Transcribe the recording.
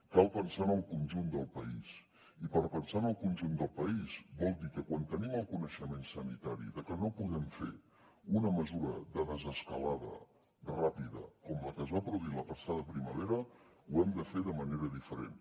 cal pensar en el conjunt del país i pensar en el conjunt del país vol dir que quan tenim el coneixement sanitari que no podem fer una mesura de desescalada ràpida com la que es va produir la passada primavera ho hem de fer de manera diferent